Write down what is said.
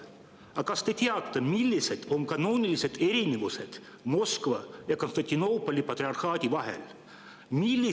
" Aga kas te teate, millised on kanoonilised erinevused Moskva ja Konstantinoopoli patriarhaadi vahel?